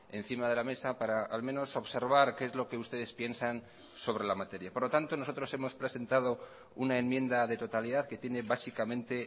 encima de la mesa para al menos observar qué es lo que ustedes piensan sobre la materia por lo tanto nosotros hemos presentado una enmienda de totalidad que tiene básicamente